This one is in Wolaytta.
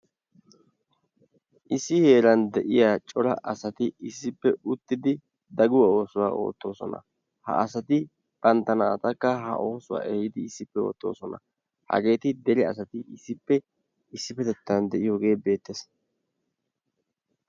issi heeran de'iya cora asati daguwaa oosuwa ootoosona. ha oosuwa eti issippe ootoosona. ha asati banta naatakka ehiidi ha osuwa issippe ootoosona. hageeti dere asati issippe issipetettan de'iyoogee beetees.